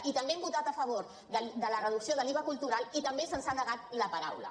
i també hem votat a favor de la reducció de l’iva cultural i també se’ns ha negat la paraula